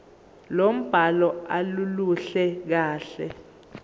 lombhalo aluluhle kahle